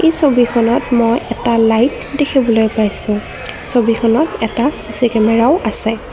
ছবিখনত মই এটা লাইট দেখিবলৈ পাইছোঁ ছবিখনত এটা চি_চি কেমেৰাও আছে।